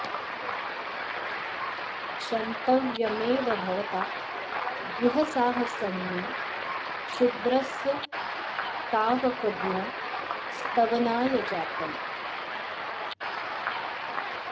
क्षन्तव्यमेव भवता गुह साहसं मे क्षुद्रस्य तावकगुणस्तवनाय जातम्